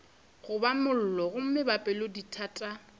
goba mollo gomme ba pelodithata